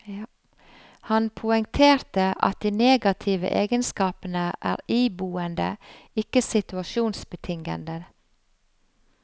Han poengterer at de negative egenskapene er iboende, ikke situasjonsbetingede.